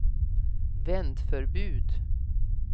vändförbud